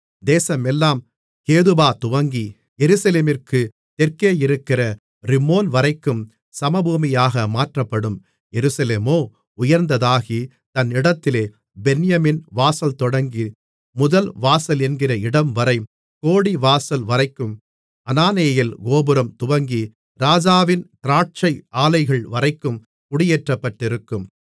தேசமெல்லாம் கேபாதுவங்கி எருசலேமிற்குத் தெற்கே இருக்கிற ரிம்மோன்வரைக்கும் சமபூமியாக மாற்றப்படும் எருசலேமோ உயர்ந்ததாகி தன் இடத்திலே பென்யமீன் வாசல்தொடங்கி முதல்வாசலென்கிற இடம்வரை கோடிவாசல் வரைக்கும் அனானெயேல் கோபுரம் துவங்கி ராஜாவின் திராட்சை ஆலைகள்வரை குடியேற்றப்பட்டிருக்கும்